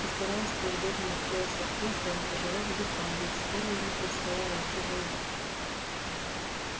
и стараясь поудобнее устроиться в кресле он тяжело вздыхал ведь скоро ему предстояло идти воевать